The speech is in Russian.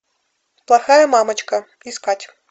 плохая мамочка искать